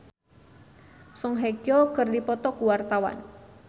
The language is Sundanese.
Sandy Sandoro jeung Song Hye Kyo keur dipoto ku wartawan